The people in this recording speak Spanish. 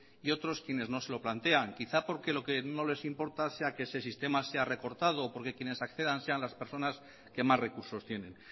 y otros quienes no se lo plantean quizá porque lo que no les importa sea que ese sistema sea recortado porque quienes accedan sean las personas que más recursos tienen